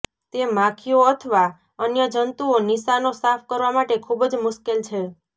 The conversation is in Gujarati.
તે માખીઓ અથવા અન્ય જંતુઓ નિશાનો સાફ કરવા માટે ખૂબ જ મુશ્કેલ છે